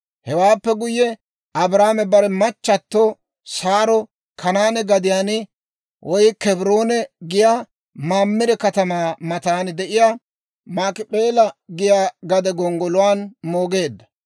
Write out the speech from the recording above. Hewaappe guyye, Abrahaame bare machchatto Saaro Kanaane gadiyaan (Kebroone giyaa) Mamire katamaa matan de'iyaa Maakip'eela giyaa gade gonggoluwaan moogeedda.